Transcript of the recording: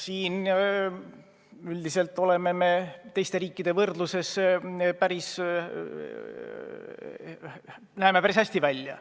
Selles võrdluses teiste riikidega me näeme päris head välja.